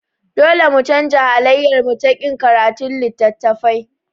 Dole mu canza halayyarmu ta ƙin karatun littattafai.